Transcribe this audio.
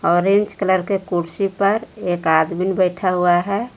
Orange colour के कुर्सी पर एक आदमीन बैठा हुआ है।